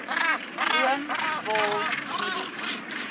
room wol mielies